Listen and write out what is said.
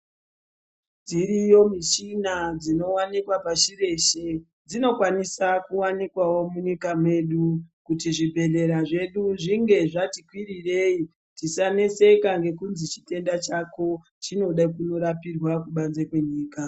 Dziriyo michina dzinowanikwa pashi reshe dzinokwanisa kuwanikwawo munyika mwedu kuti zvibhedhlera zvedu zvinge zvati kwirirei tisaneseka ngekuti chitenda chako chinoda kurapirwa kubanze kwenyika.